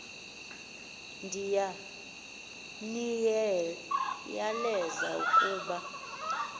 ndiya niyaleza ukuba